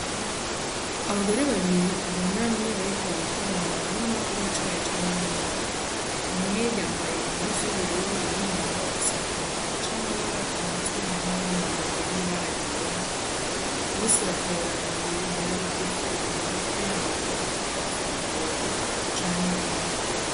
Abagore ba biri bunamye bariko barakora mu murima w'icayi canke w'imboga umwe yambaye impuzu y'ubururu uwundi nawe afise igitambara c'amabara ku mutwe hamwe n'umwambaro w'ibara ryera bose bakorera mu bimera bigufi, Amaboko yabo ariko barafata amababi canke imbuto.